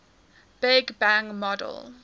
big bang model